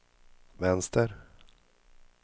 vänster